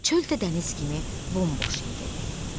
Çöl də dəniz kimi bomboş idi.